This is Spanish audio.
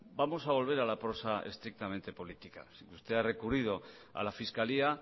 vamos a volver a la prosa estrictamente política si usted ha recurrido a la fiscalía